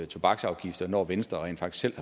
tobaksafgifter når venstre rent faktisk